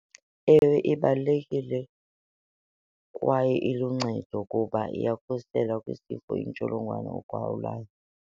Ewe, ibalulekile kwaye iluncedo kuba iyakhusela kwisifo intsholongwane ugawulayo.